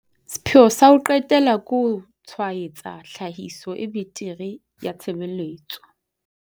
Sepheo sa ho qetela ke ho tshwaetsa tlhahiso e betere ya tshebeletso.